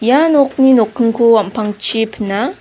ia nokni nokkingko am·pangchi pina.